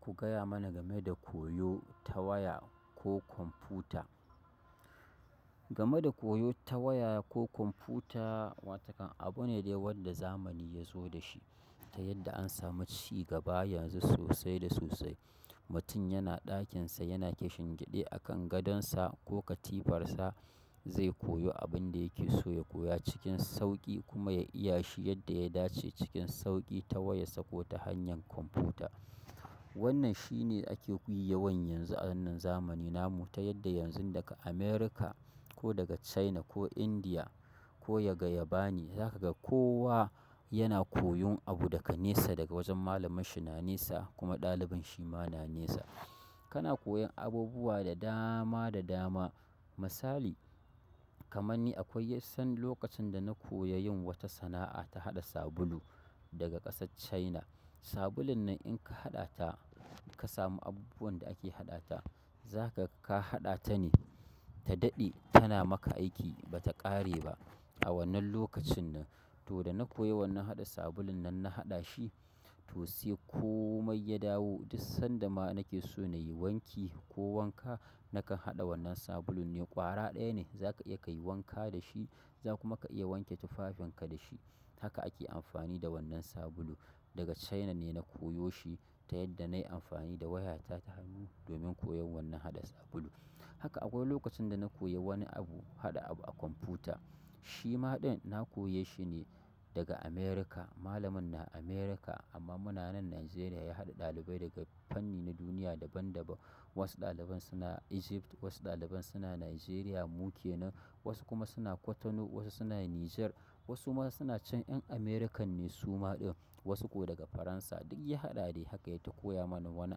Ku gaya mana game da koyo ta waya ko kwamfuta. Game da koyo ta waya ko kwamfuta, wa takan abu ne dai wanda zamani yazo da shi ta yadda an sami cigaba yanzu sosai da sosai. Mutum yana ɗakinsa yana kishingiɗe a kan gadonsa ko katifarsa zai koyo abinda yake so ya koya cikin sauƙi kuma ya iyashi yadda ya dace cikin sauƙi ta wayarsa ko ta hanyar kwamfuta. Wannan shi ne ake kuyi yawan yi yanzu a wannan zamani namu ta yadda yanzun daga America ko daga China ko India ko daga yabani za kaga kowa yana koyon abu daga nesa daga wajen malamanshi na nesa kuma ɗalibin shima na nesa. Kana koyan abubuwa da dama da dama. Misali, kamar ni akwai yassan lokacin da na koya yin wata sana'a ta haɗa sabulu daga ƙasar China. Sabulun nan inka haɗa ta ka samu abubuwan da ake haɗa ta, za kaga haɗa tane ta daɗe tana maka aiki bata ƙare ba. A wannan lokacin nan to dana koya wannan haɗa sabulun nan na haɗa shi, to sai komai ya dawo duk sanda ma nake so nayi wanki ko wanka, nakan haɗa wannan sabulun ne ƙwara ɗaya ne zaka iya kayi wanka dashi za kuma ka iya wanke tufafin ka da shi. Haka ake amfani da wannan sabulu daga China ne na koyo shi ta yadda nayi amfani da wayata ta hannu domin koyon wannan haɗa sabulu. Haka akwai lokacin dana koyi wani abu haɗa abu a kwamfuta, shima ɗin na koye shi ne daga America. Malamin na America amma munanan Nigeria ya haɗa ɗalibai daga fanni na duniya daban daban. Wasu ɗaliban suna Egypt, wasu ɗaliban suna Nigeria mu kenan, wasu kuma suna cotonou, wasu suna Niger, wasu ma suna can ƴan American ne suma ɗin, wasu ko daga Faransa duk ya haɗa de haka yata koya mana wani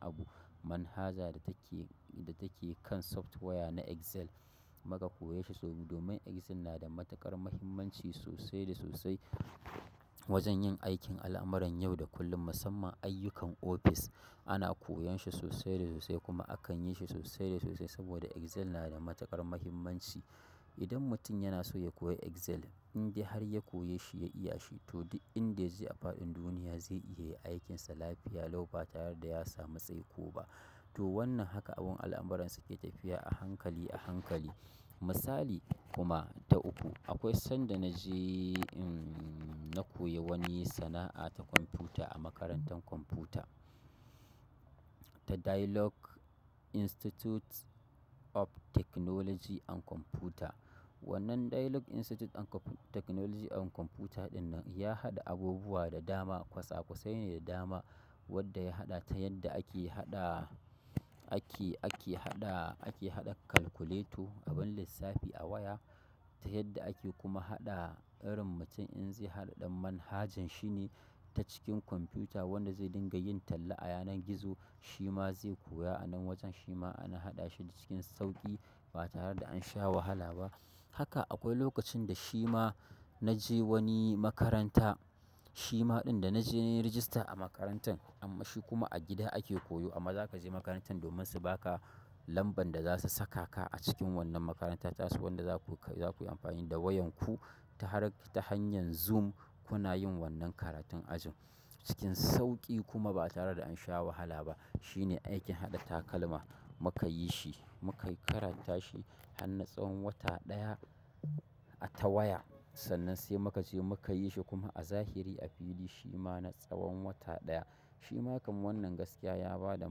abu. Manhaja da take, da take kan software na Excel muka koye shi domin Excel na da matuƙar muhimmanci sosai da sosai wajen yin aikin al'amuran yau da kullum. Musamman ayyukan ofis ana koyan shi sosai da sosai kuma akan yi shi sosai da sosai saboda Excel na da matuƙar muhimmanci. Idan mutum yana so ya koya Excel in dai har ya koye shi ya iyashi to duk inda ya je a faɗin duniya zai iya yin aikinsa lafiya lau ba tare da ya samu tsaiko ba. To wannan haka abun al'amuransa ke tafiya a hankali a hankali. Misali kuma ta uku, akwai sanda naje na koyi wani sana'a ta kwamfuta a makarantar kwamfuta ta Dialogue Institute of technology and computer. Wannan Dialogue Institute and technology and computer ɗin nan ya haɗa abubuwa da dama kwasakwasai ne da dama wadda ya haɗa ta yadda ake haɗa, ake, ake haɗa, ake haɗa calculator abin lissafi a waya ta yadda ake kuma haɗa irin mutum in zai haɗa ɗan manhajan shi ne ta cikin kwamfuta wanda zai dinga yin talla a yanar gizo shima zai koya a nan wajen shima ana haɗa shi cikin sauƙi ba tare da an sha wahala ba. Haka akwai lokacin da shima naje wani makaranta, shima ɗin da na je na yi rajista a makarantan amma shi kuma a gida ake koyo amma za ka je makarantan domin su baka lamban da zasu saka ka a cikin wannan makaranta tasu wanda za kuyi amfani da wayanku ta hanyar Zoom kuna yin wannan karatun ajin cikin sauƙi kuma ba tare da ansha wahala ba. Shine aikin haɗa takalma muka yi shi, muka yi karanta shi har na tsawon wata ɗaya a ta waya sannan sai muka je muka yi shi kuma a zahiri a fili shima na tsawon wata ɗaya. Shima kamar wannan gaskiya ya bada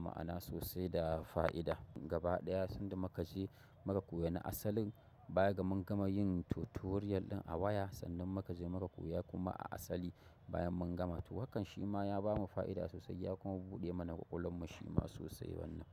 ma'ana sosai da fa'ida. Gaba ɗaya sanda muka je muka koya na asalin baya ga mun gama yin tutorial ɗin a waya sannan muka je muka koya kuma a asali bayan mun gama. To hakan shima ya bamu fa'ida sosai ya kuma buɗe mana ƙwaƙwalwan mu shima sosai wannan.